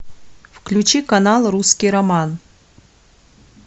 включи канал русский роман